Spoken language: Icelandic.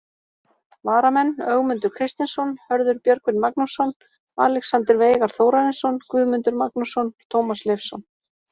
Varamenn: Ögmundur Kristinsson, Hörður Björgvin Magnússon, Alexander Veigar Þórarinsson, Guðmundur Magnússon, Tómas Leifsson.